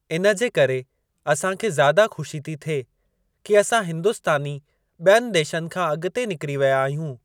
इन जे करे असांखे ज़्यादा खु़शी थी थिए कि असां हिंदुस्तानी ॿियनि देशनि खां अॻिते निकरी विया आहियूं।